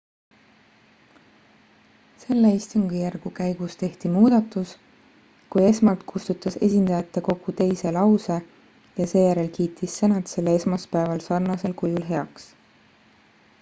selle istungijärgu käigus tehti muudatus kui esmalt kustutas esindajatekogu teise lause ja seejärel kiitis senat selle esmaspäeval sarnasel kujul heaks